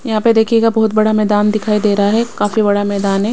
यहां पे देखिएगा बहुत बड़ा मैदान दिखाई दे रहा है काफी बड़ा मैदान है।